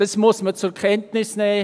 Das muss man zur Kenntnis nehmen.